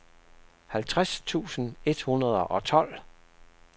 halvtreds tusind et hundrede og tolv